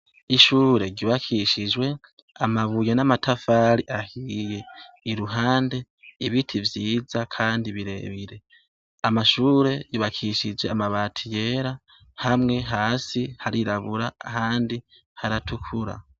Ishure ryubakishijwe ,amabuye n'amatafari ahiye iruhande, ibiti vyiza kandi birebire ,amashure yubakishije amabati yera hamwe hasi harirabura handi haratukura